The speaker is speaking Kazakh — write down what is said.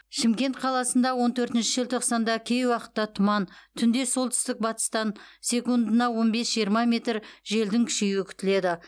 шымкент қаласында он төртінші желтоқсанда кей уақытта тұман түнде солтүстік батыстан секундына он бес жиырма метр желдің күшеюі күтіледі